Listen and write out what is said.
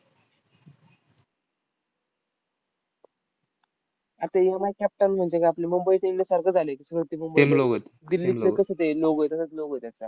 अर ते MI Cape Town म्हणजे आपलं मुंबई सारखं झालंय दिल्लीचा कसं ते logo आहे, तसाच logo आहे त्यांचा.